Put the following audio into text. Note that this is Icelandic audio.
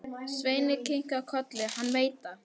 Svenni kinkar kolli, hann veit það.